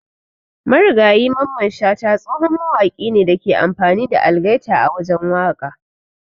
Marigayi Mamman shata tsohon mawaki ne Dake amfani da algaita a wajen waka.